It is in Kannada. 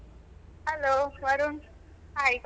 Hello Varun hai